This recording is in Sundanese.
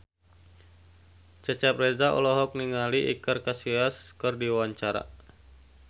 Cecep Reza olohok ningali Iker Casillas keur diwawancara